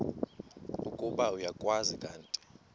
ukuba uyakwazi kanti